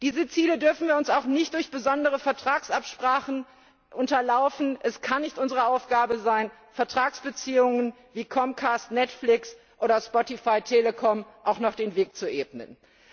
Diese Ziele dürfen auch nicht durch besondere Vertragsabsprachen unterlaufen werden. Es kann nicht unsere Aufgabe sein, Vertragsbeziehungen wie Comcast Netflix oder Spotify Telekom auch noch den Weg zu ebnen.